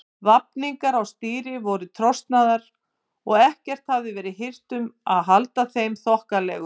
Vafningar á stýri voru trosnaðir og ekkert hafði verið hirt um að halda þeim þokkalegum.